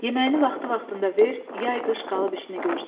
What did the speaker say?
Yeməyini vaxtı-vaxtında ver, yay-qış qalıb işini görsün.